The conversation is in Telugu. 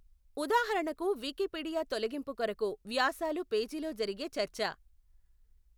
ఉదాహరణకు వికీపీడియాతొలగింపు కొరకు వ్యాసాలు పేజీలో జరిగే చర్చ.